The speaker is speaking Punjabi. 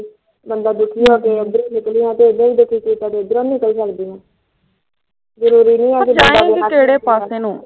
ਪਰ ਜਾਏਗੀ ਕਿਹੜੇ ਪਾਸੇ ਨੂੰ